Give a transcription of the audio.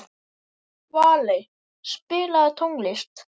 Valey, spilaðu tónlist.